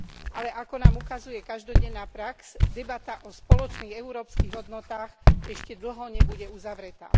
Ale ako nám ukazuje každodenná prax, debata o spoločných európskych hodnotách ešte dlho nebude uzavretá.